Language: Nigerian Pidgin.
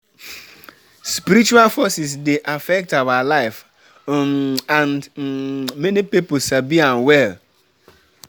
Traditional healers dey connect pipo to spiritual forces wey dey guide dem.